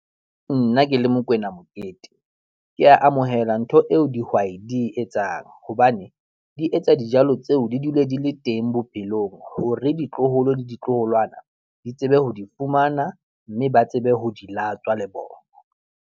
Nna ke le Mokoena Mokete, ke a amohela ntho eo dihwai di etsang hobane di etsa dijalo tseo di dule di le teng bophelong hore ditloholo le ditloholwana di tsebe ho di fumana mme ba tsebe ho di latswa le bona.